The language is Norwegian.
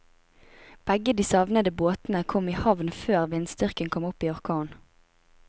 Begge de savnede båtene kom i havn før vindstyrken kom opp i orkan.